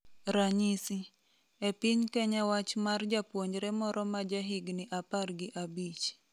Ranyisi . e piny Kenya wach mar japuonjre moro ma ja higni apar gi abich